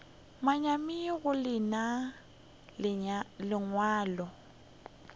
manyami go le nea lengwalo